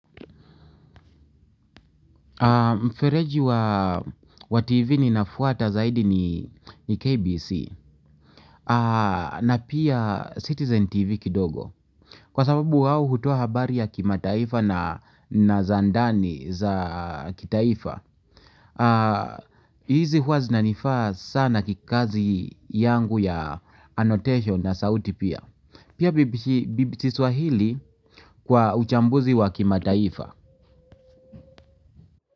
Mfereji wa TV ninaofuata zaidi ni KBC na pia Citizen TV kidogo. Kwa sababu wao hutoa habari ya kimataifa na za ndani za kitaifa. Hizi huwaa zinanifaa sana kikazi yangu ya annotation na sauti pia. Pia BBC Swahili kwa uchambuzi wa kimataifa.